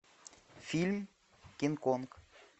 фильм кинг конг